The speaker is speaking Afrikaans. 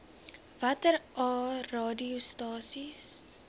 watter aa radiostasies